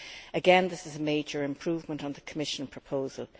Again, this is a major improvement on the Commission proposal.